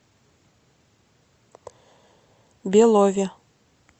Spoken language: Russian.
белове